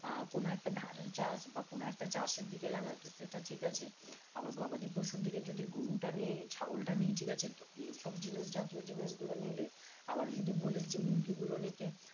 আহ কোনো একটা ধান চাষ বা কোনো একটা চাষের দিকে লাগাই তো সেটা ঠিক আছে আবার গবাদি পশুর দিকে যদি গরুটা নি ছাগলটা নি ঠিক আছে তো এই সব জিনিস জাতীয় জিনিস গুলো নিলে আবার যদি বলিস মুরগি গুলো নিতে